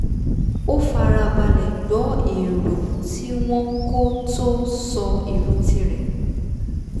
ó fara balẹ̀ gbọ́ èrò tí wọ́n kó tó sọ èrò ti rẹ̀